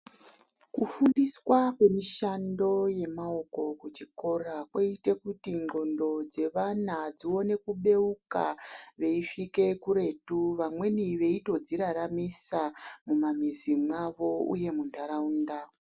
Kufundiswa kwemishando yemaoko kuchikora kwoite kuti ndxondo dzevana dzione kubeuka veisvike kuretu. Vamweni veitodziraramisa mumamizi mwavo, uye munharaunda.